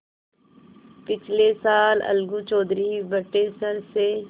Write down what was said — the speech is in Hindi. पिछले साल अलगू चौधरी बटेसर से